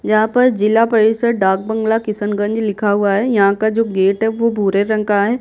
जहाँ पर जिला परिषद डार्क बंगला किशनगंज लिखा हुआ है यहाँ का जो गेट है वो भूरे रंग का है।